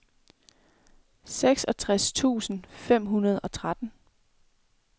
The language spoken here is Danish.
seksogtres tusind fem hundrede og tretten